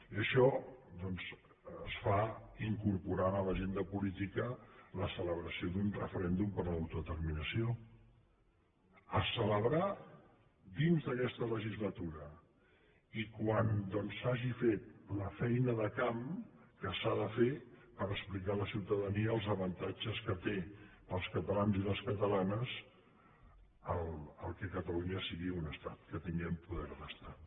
i això doncs es fa incorporant a l’agenda política la celebració d’un referèndum per a l’autodeterminació a celebrar dins d’aquesta legislatura i quan s’hagi fet la feina de camp que s’ha de fer per explicar a la ciutadania els avantatges que té per als catalans i les catalanes que catalunya sigui un estat que tinguem poder d’estat